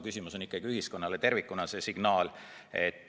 Küsimus on ühiskonnale tervikuna antavas signaalis.